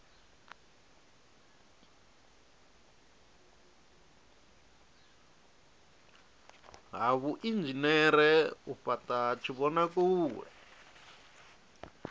ha vhuinzhinere u fhata tshivhonakule